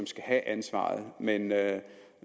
skal have ansvaret men